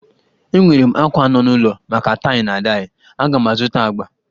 Enwere m àkwá nọ n'ulọ maka taị na daị, aga m azụta agbà